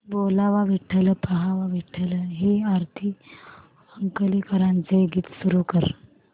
बोलावा विठ्ठल पहावा विठ्ठल हे आरती अंकलीकरांचे गीत सुरू कर